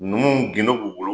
Numu gindo b'u bolo